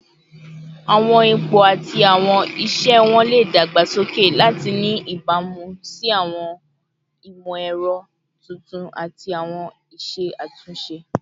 Awọn ipo ati awọn iṣẹ wọn le dagbasoke lati ni ibamu si awọn imọ-ẹrọ tuntun ati awọn iṣe atunṣe